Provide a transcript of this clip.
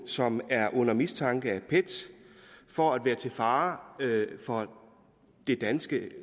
som er under mistanke af pet for at være til fare for det danske